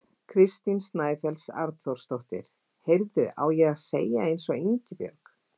Kristín Snæfells Arnþórsdóttir: Heyrðu, á ég að segja eins og Ingibjörg?